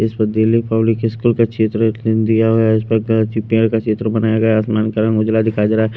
इस पर Delhi public school का क्षेत्र दिया हुआ है इस परची पेड़ का चित्र बनाया गया है आसमान का रंग उजला दिखाई दे रहा है।